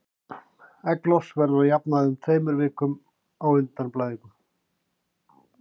Egglos verður að jafnaði um tveimur vikum á undan blæðingum.